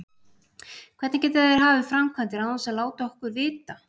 Hvernig geta þeir hafið framkvæmdir án þess að láta okkur vita?